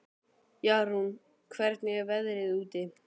Jarún, hvernig er veðrið úti?